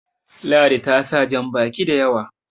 ladi ta sa jan baki da yawa